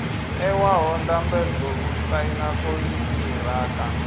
ṋewaho ndambedzo u saina konṱiraka